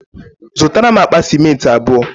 Zụtara m akpa sịmentị abụọ.